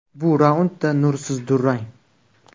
Bu raundda nursiz durang.